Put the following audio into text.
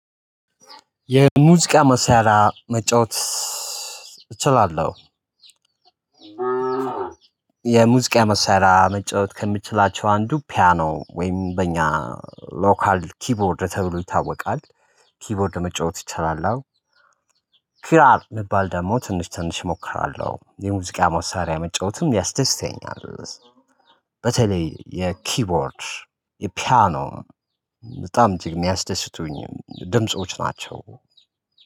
የሙዚቃ መሳሪያ መጫወት እችላለሁ። የሙዚቃ መሳሪያ መጫወት ከምችላቸው አንዱ ፒያኖ ወይም በእኛ ሎካል ኪቦርድ ተብሎ ይታወቃል ኪቦርድ መጫወት እችላለው። ኪራር የሚባል ደግሞ ትንሽ ትንሽ እሞክራለሁ የሙዚቃ መሳሪያ የመጫወትም ያስደስተኛል። በተለይ የኪቦርድ የፒያኖ በጣም እጅግ የሚያስደስቱኝ ድምጾች ናቸው።